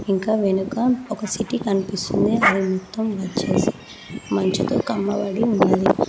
ఇంకా వెనుక ఒక సిటీ కనిపిస్తుంది అది మొత్తం వచ్చేసి మంచుతో కమ్మబడి ఉన్నది.